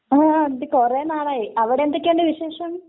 ങാ...കുറേ നാളായി. അവിടെന്തൊക്കെയുണ്ട് വിശേഷം?